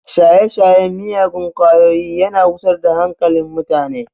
Shaye-shayen miyagun kwayoyi yana gusar da hankalin mutane